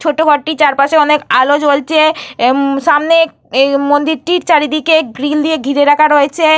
ছোট ঘরটির চারপাশে অনেক আলো জ্বলছে। উম সামনে মন্দিরটির চারদিকে গ্রিল দিয়ে ঘিরে রাখা রয়েছে।